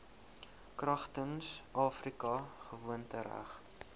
kragtens afrika gewoontereg